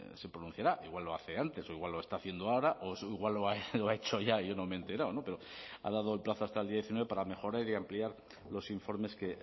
se pronunciará igual lo hace antes o igual lo está haciendo ahora o igual lo ha hecho ya y yo no me he enterado pero ha dado el plazo hasta el diecinueve para mejorar y ampliar los informes que